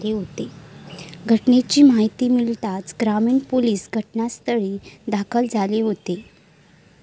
घटनेची माहिती मिळताच ग्रामीण पोलिस घटनास्थळी दाखल झाले होते.